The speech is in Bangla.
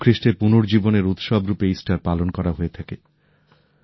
যিশুখ্রিস্টের পুনর্জীবনের উৎসব রূপে ইস্টার পালন করা হয়ে থাকে